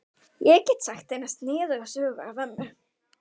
Ég get sagt eina sniðuga sögu af Önnu.